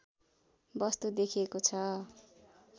वस्तु देखिएको छ